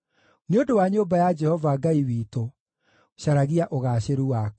Nĩ ũndũ wa nyũmba ya Jehova Ngai witũ, caragia ũgaacĩru waku.